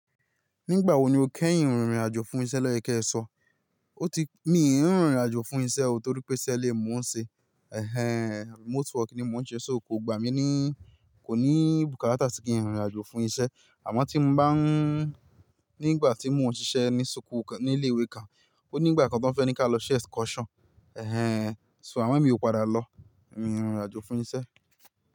Nígbà wo ni o kẹ́yìn rìnrìn àjò fún isẹ́ lọ́yè kí ẹ sọ? O ti, mi ì ń rìnrìn àjò fún isẹ́ o torí pé isẹ́ ilé ni mo n ṣe. Remote work ni mo ń ṣe, so kò gba mi ni, kò ní bùkátà kí n rìnrìn àjò fún isẹ́. Àmọ́ tí mo bá ń, nígbà tí mo ń ṣiṣẹ́ ní súkù kan, ní ilé-ìwé kan, ó ní ìgbà kan tó ń fẹ́ kí a lọ ṣe excursion. So amò mi ò padà lọ, mí n rìn irin àjò fún isẹ́